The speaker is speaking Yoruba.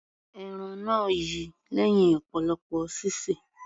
Ẹran náà yi lẹ́hìn ọ̀pọ̀lọpọ̀ sísè.